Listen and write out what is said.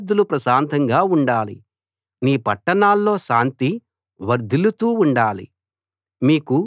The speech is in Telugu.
నీ సరిహద్దులు ప్రశాంతంగా ఉండాలి నీ పట్టణాల్లో శాంతి వర్ధిల్లుతూ ఉండాలి